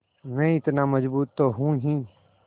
मैं इतना मज़बूत तो हूँ ही